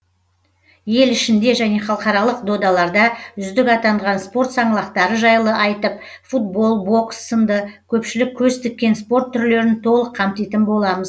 ел ішінде және халықаралық додаларда үздік атанған спорт саңлақтары жайлы айтып футбол бокс сынды көпшілік көз тіккен спорт түрлерін толық қамтитын боламыз